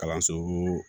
Kalanso